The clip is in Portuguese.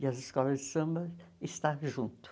E as escolas de samba está junto